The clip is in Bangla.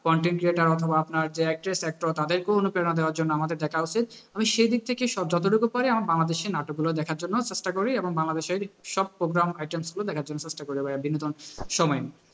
content writer অথবা আপনার যে actress, actor তাদেরকেও অনুপ্রেরণা দেওয়ার জন্য আমাদের দেখা উচিত, আমি সেদিক থেকে যতটুকু পারি আমার বাংলাদেশের নাটকগুলো দেখার জন্য চেষ্টা করি এবং বাংলাদেশের সব programs, items গুলো দেখার জন্য চেষ্টা করি বিনোদনের সময়।